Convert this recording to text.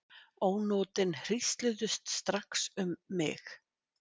Ónotin hrísluðust strax um mig.